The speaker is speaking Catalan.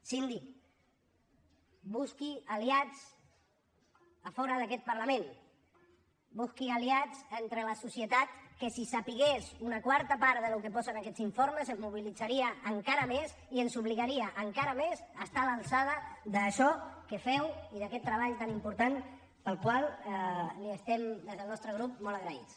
síndic busqui aliats fora d’aquest parlament busqui aliats entre la societat que si sabés una quarta part del que posa en aquests informes es mobilitzaria encara més i ens obligaria encara més a estar a l’alçada d’això que feu i d’aquest treball tan important pel qual li estem des del nostre grup molt agraïts